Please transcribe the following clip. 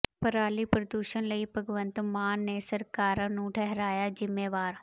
ਪਰਾਲੀ ਪ੍ਰਦੂਸ਼ਣ ਲਈ ਭਗਵੰਤ ਮਾਨ ਨੇ ਸਰਕਾਰਾਂ ਨੂੰ ਠਹਿਰਾਇਆ ਜ਼ਿੰਮੇਵਾਰ